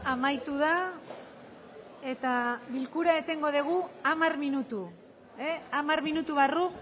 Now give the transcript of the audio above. amaitu da eta bilkura etengo dugu hamar minutu hamar minutu barru